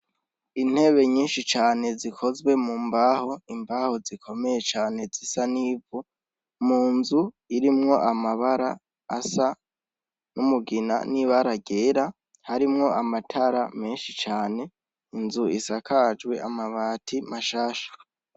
Intebe nyinshi cane zikozwe mu mbaho, imbaho zikomeye cane zisa n' ivu mu nzu irimwo amabara asa n' umugina n' ibara ryera harimwo amatara menshi cane inzu isakajwe amabati mashasha.